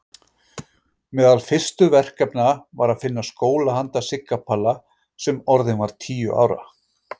Meðal fyrstu verkefna var að finna skóla handa Sigga Palla sem orðinn var tíu ára.